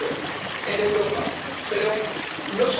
La démocratie, c'est bien quand tout le monde vote pour vous.